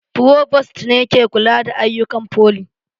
Frovost ne ke kula da ayyukan foli